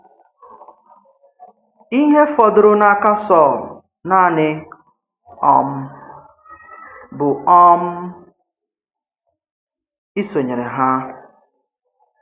Íhè fọ̀dụrụ̀ n’áka Sọ̀l nànị̀ um bụ̀ um ísonyèrè hà.